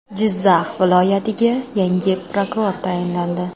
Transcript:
Jizzax viloyatiga yangi prokuror tayinlandi.